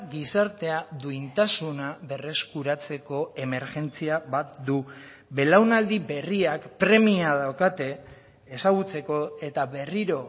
gizartea duintasuna berreskuratzeko emergentzia bat du belaunaldi berriak premia daukate ezagutzeko eta berriro